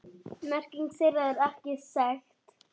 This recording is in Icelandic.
Merking þeirra er ekki þekkt.